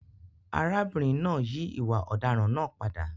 Arábìnrin náà yí ìwà ọ̀daràn náà padà.